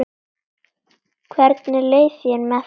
Hvernig leið þér með það?